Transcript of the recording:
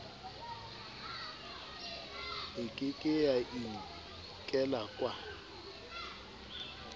e ke ke ya inkelwaka